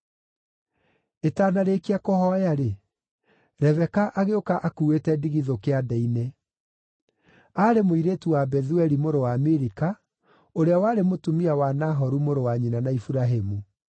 Ĩtanarĩkia kũhooya-rĩ, Rebeka agĩũka akuuĩte ndigithũ kĩande-inĩ. Aarĩ mũirĩtu wa Bethueli mũrũ wa Milika, ũrĩa warĩ mũtumia wa Nahoru mũrũ wa nyina na Iburahĩmu.